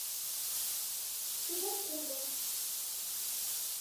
чебаркулем